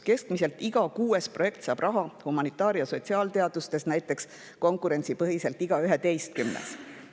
Keskmiselt iga kuues projekt saab raha, humanitaar‑ ja sotsiaalteadustes näiteks konkurentsipõhiselt iga 11. projekt.